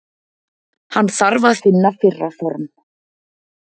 Hann þarf að finna fyrra form.